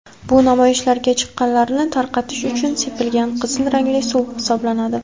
bu namoyishlarga chiqqanlarni tarqatish uchun sepilgan qizil rangli suv hisoblanadi.